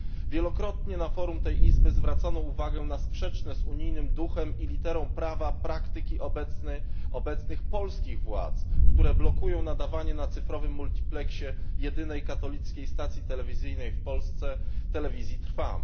Wielokrotnie na forum tej Izby zwracano uwagę na sprzeczne z unijnym duchem i literą prawa praktyki obecnych polskich władz, które blokują nadawanie na cyfrowym multipleksie jedynej katolickiej stacji telewizyjnej w Polsce, Telewizji Trwam.